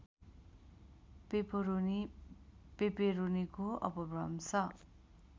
pepperoni पेपेरोनीको अपभ्रंश